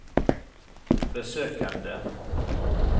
besøkene